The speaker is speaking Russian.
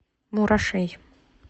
мурашей